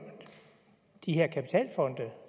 de her kapitalfonde